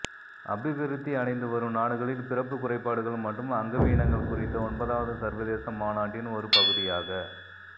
அபிவிருத்தி அடைந்து வரும் நாடுகளில் பிறப்பு குறைபாடுகள் மற்றும் அங்கவீனங்கள் குறித்த ஒன்பதாவது சர்வதேச மாநாட்டின் ஒரு பகுதியாக